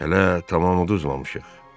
Hələ tamam udulmamışıq.